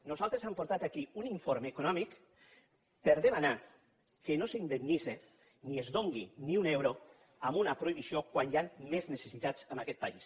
nosaltres hem portat aquí un informe econòmic per a demanar que no s’indemnitzi ni es doni ni un euro a una prohibició quan hi han més necessitats en aquest país